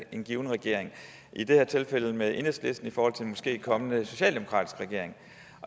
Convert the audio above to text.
en given regering i det her tilfælde med enhedslisten i forhold til en måske kommende socialdemokratisk regering